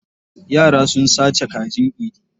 Yara sun sake kajin Idi.